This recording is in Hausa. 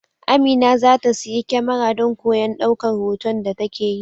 Amina za ta siyi kyamara don koyon daukar hoton da take yi.